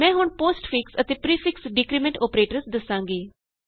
ਮੈਂ ਹੁਣ ਪੋਸਟਫਿਕਸ ਅਤੇ ਪਰੀਫਿਕਸ ਡਿਕਰੀਮੈਂਟ ਅੋਪਰੇਟਰਸ ਦਸਾਂਗੀ